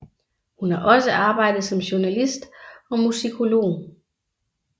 Hun har også arbejdet som journalist og musikolog